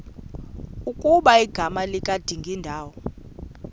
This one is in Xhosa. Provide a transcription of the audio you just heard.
ukuba igama likadingindawo